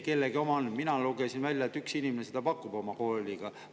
Mina lugesin välja, et üks inimene pakub sellist koolitust.